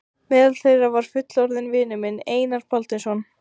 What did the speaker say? Meðal þeirra var fullorðinn vinur minn, Einar Baldvinsson.